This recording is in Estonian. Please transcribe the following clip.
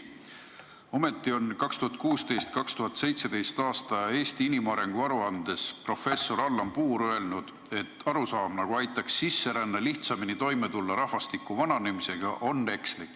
Ometi on 2016.–2017. aasta Eesti inimarengu aruandes professor Allan Puur öelnud, et arusaam, nagu aitaks sisseränne lihtsamini toime tulla rahvastiku vananemisega, on ekslik.